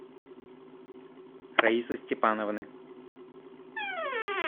раисы степановны